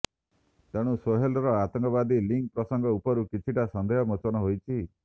ତେଣୁ ସୋହେଲ୍ର ଆତଙ୍କବାଦୀ ଲିଙ୍କ୍ ପ୍ରସଙ୍ଗ ଉପରୁ କିଛିଟା ସନ୍ଦେହ ମୋଚନ ହୋଇଛି